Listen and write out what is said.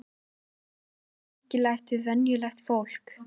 En hvað er svona merkilegt við venjulegt fólk?